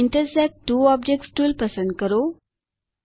intersect two objects tool પસંદ કરો